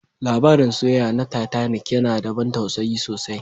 Labarin soyayya na Titanic yana da ban tausayi sosai